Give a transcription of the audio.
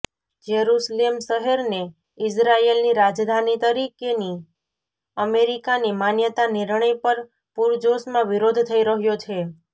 Jerusalem શહેરને ઈઝરાયેલની રાજધાની તરીકેની અમેરિકાની માન્યતા નિર્ણય પર પૂરજોશમાં વિરોધ થઈ રહ્યો છે